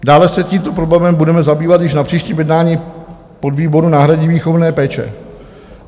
Dále se tímto problémem budeme zabývat již na příštím jednání podvýboru náhradní výchovné péče.